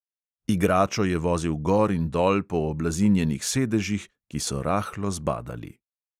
Igračo je vozil gor in dol po oblazinjenih sedežih, ki so rahlo zbadali.